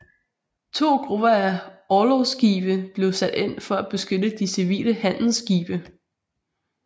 To grupper af orlogsskibe blev sat ind for at beskytte de civile handelsskibe